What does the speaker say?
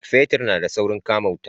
Fetir na da saurin kama wuta